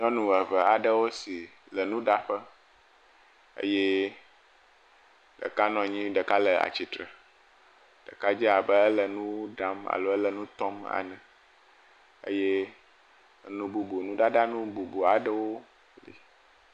Nyɔnu eve aɖewo si le nuɖaƒe eye ɖeka nɔ anyi eye ɖeka le tsitre, ɖeka dze abe ele nuɖa ele nutɔm enye eye nu bubu nu ɖaɖa nu bubu aɖewo.